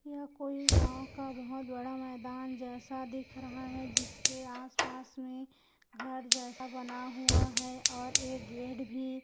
यह कोई राह का बहुत बड़ा मैदान जैसा दिख रहा है जिसके आस-पास में घर जैसा बना हुआ है और एक गेट भी--